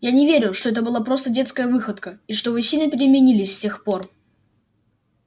я не верю что это была просто детская выходка и что вы сильно переменились с тех пор